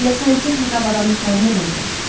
Hələ santexnika avadanlıqlarını demirəm.